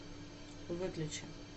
выключи